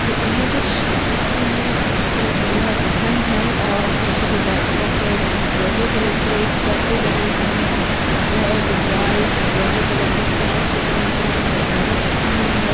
ये इमेज एक शादी की है जहाँ पर दूल्हा दुल्हन हैं और पीछे जो बैकड्राप है वहां येलो कलर के परदे डले हुए हैं रेड व्हाइट येलो कलर के फ्लावर्स से जो है पूरी सजावट की हुई है।